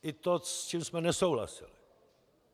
I to, s čím jsme nesouhlasili.